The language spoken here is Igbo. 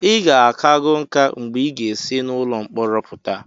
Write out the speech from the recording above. ị ga-akago nká mgbe ị ga-esi n'ụlọ mkpọrọ pụta